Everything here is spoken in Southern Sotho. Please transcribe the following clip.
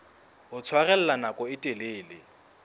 ho tshwarella nako e telele